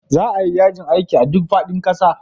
Za a yi yajin aiki a duk faɗin ƙasa.